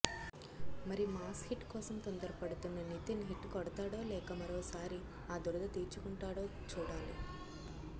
మరి mass hit కోసం తొందర పడుతున్న నితిన్ హిట్ కొడతాడో లేక మరోసారి ఆ దురద తీర్చుకుంటాడో చూడాలి